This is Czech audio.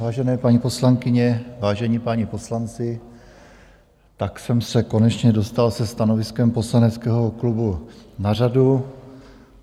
Vážené paní poslankyně, vážení páni poslanci, tak jsem se konečně dostal se stanoviskem poslaneckého klubu na řadu.